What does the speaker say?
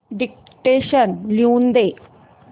dictation लिहून घे